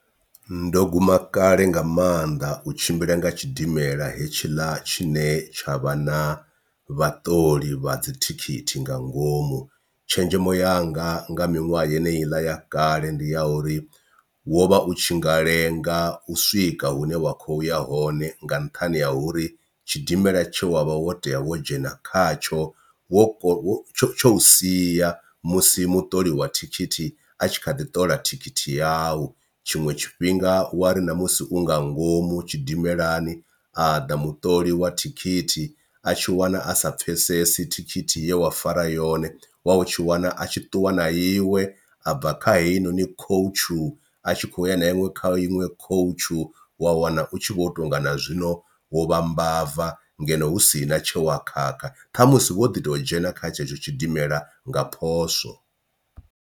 Ndo guma kale nga maanḓa u tshimbila nga tshidimela hetshiḽa tshine tsha vha na vhaṱoli vha dzithikhithi nga ngomu, tshenzhemo yanga nga miṅwaha yeneyi iḽa ya kale ndi ya uri wo vha u tshi nga lenga u swika hune wa khoya hone nga nṱhani ha uri tshidimela tshe wa vha wo tea wo dzhena khatsho wo tsho tsho sia musi muoli wa thikhithi a tshi kha ḓi ṱola thikhithi yau. Tshiṅwe tshifhinga wa ri na musi u nga ngomu tshidimelani a ḓa muṱoli wa thikhithi a tshi wana a sa pfhesesi thikhithi ye wa fara yone wa u tshi wana a tshi ṱuwa na iwe, a bva kha heyinoni khoutshu a tshi khou ya na iṅwe kha iṅwe khoutshu wa wana u tshi vho tou nga na zwino wo vha mbava ngeno hu sina tshe wa khakha thamusi wo ḓi tou dzhena kha tshetsho tshidimela nga phoswo.